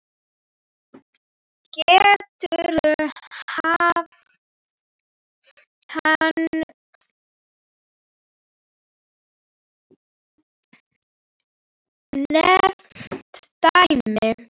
Getur hann nefnt dæmi?